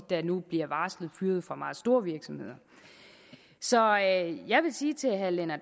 der nu bliver varslet fyret fra meget store virksomheder så jeg vil sige til herre lennart